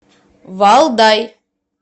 валдай